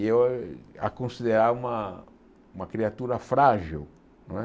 E eu a considerava uma uma criatura frágil não é.